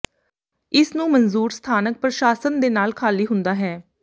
ਇਸ ਨੂੰ ਮਨਜ਼ੂਰ ਸਥਾਨਕ ਪ੍ਰਸ਼ਾਸਨ ਦੇ ਨਾਲ ਖ਼ਾਲੀ ਹੁੰਦਾ ਹੈ